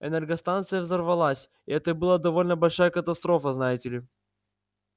энергостанция взорвалась и это была довольно большая катастрофа знаете ли